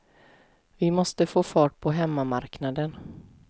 Vi måste få fart på hemmamarknaden.